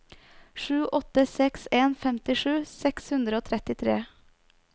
sju åtte seks en femtisju seks hundre og trettitre